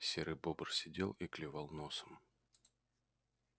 серый бобр сидел и клевал носом